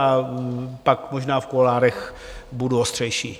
A pak možná v kuloárech budu ostřejší.